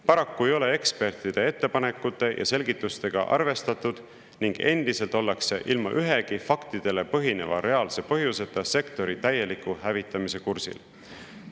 Paraku ei ole ekspertide ettepanekute ja selgitustega arvestatud ning endiselt ollakse ilma ühegi faktidele põhineva reaalse põhjuseta sektori täieliku hävitamise kursil.